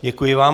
Děkuji vám.